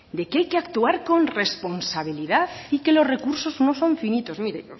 de que hay que actuar con responsabilidad y que los recursos no son finitos mire